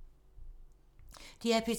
DR P2